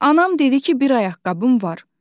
Anam dedi ki, bir ayaqqabım var.